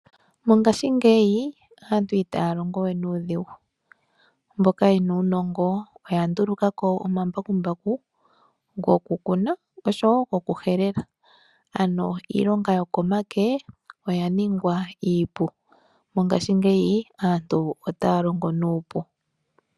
Mongashingeyi aantu itaya longo we nuudhigu. Mboka yena uunongo oya nduluka ko omambakumbaku goku kuna oshowo goku helela, ano iilonga yokomake oya ningwa iipu. Mongashingeyi aantu otaya longo nuupu.